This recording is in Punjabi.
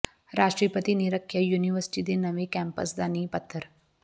ਰਾਸ਼ਟਰਪਤੀ ਨੇ ਰੱਖਿਆ ਯੂਨੀਵਰਸਿਟੀ ਦੇ ਨਵੈਂ ਕੈਂਪਸ ਦਾ ਨੀਂਹ ਪੱਥਰ